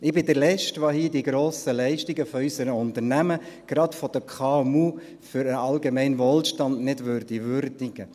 Ich bin der letzte, der hier im Grossen Rat die grossen Leistungen unserer Unternehmen, gerade der KMU, für den allgemeinen Wohlstand nicht würdigen würde.